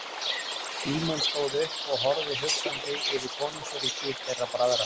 Símon stóð upp og horfði hugsandi yfir konungsríki þeirra bræðra.